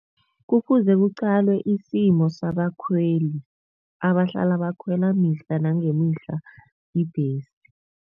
Kufuze kuqalwe isimo sabakhweli abahlala bakhwela mihla nangemihla ibhesi.